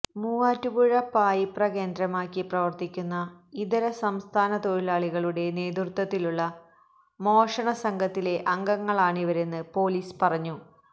മൂവാറ്റുപുഴ പായിപ്ര കേന്ദ്രമാക്കി പ്രവര്ത്തിക്കുന്ന ഇതരസംസ്ഥന തൊഴിലാളികളുടെ നേതൃത്വത്തിലുള്ള മോഷണ സംഘത്തിലെ അംഗങ്ങളാണിവരെന്ന് പൊലീസ് പറഞ്ഞു